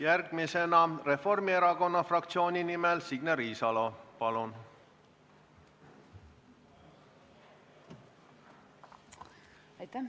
Järgmisena Reformierakonna fraktsiooni nimel Signe Riisalo, palun!